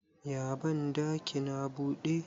ya bandakin a bude?